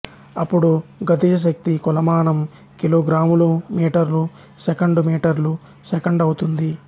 అప్పుడు గతిజ శక్తి కొలమానం కిలోగ్రాములుమీటర్లు సెకండు మీటర్లు సెకండు అవుతుంది